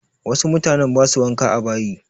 Wasu mutanen ba su wanka a bayi.